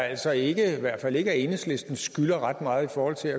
altså ikke at vi i hvert fald ikke enhedslisten skylder ret meget i forhold til